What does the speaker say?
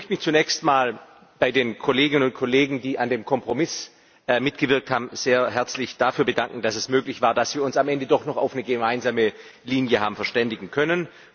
Ich möchte mich zunächst mal bei den Kolleginnen und Kollegen, die an dem Kompromiss mitgewirkt haben, sehr herzlich dafür bedanken, dass es möglich war, dass wir uns am Ende doch noch auf eine gemeinsame Linie haben verständigen können.